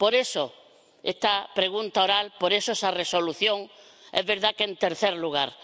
Por eso esta pregunta oral, por eso esa Resolución, es verdad que en tercer lugar.